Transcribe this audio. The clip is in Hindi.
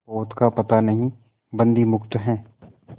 पोत का पता नहीं बंदी मुक्त हैं